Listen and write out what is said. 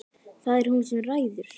Það er hún sem ræður.